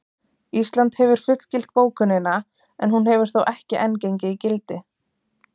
Ísland hefur fullgilt bókunina en hún hefur þó ekki enn gengið í gildi.